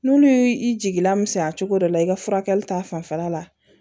N'olu y'i i jigi lamisɛnya cogo dɔ la i ka furakɛli ta fanfɛla la